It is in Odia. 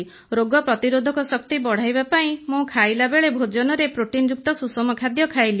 ରୋଗ ପ୍ରତିରୋଧକ ଶକ୍ତି ବଢ଼ାଇବା ପାଇଁ ମୁଁ ଖାଇଲା ବେଳେ ଭୋଜନରେ ପ୍ରୋଟିନ୍ଯୁକ୍ତ ସୁଷମ ଖାଦ୍ୟ ଖାଇଲି